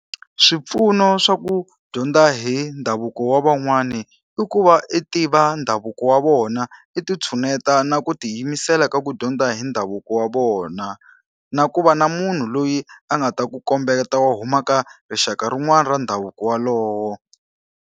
Swipfuno swa ku dyondza hi ndhavuko wa van'wani i ku va i tiva ndhavuko wa vona, i ti tshineta na ku tiyimisela ka ku dyondza hi ndhavuko wa vona. Na ku va na munhu loyi a nga ta ku kombeta wo huma ka rixaka rin'wana ra ndhavuko walowo.